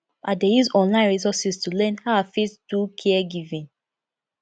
i dey use online resources to learn how i fit do caregiving